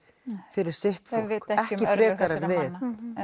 fyrir sitt fólk ekki frekar en við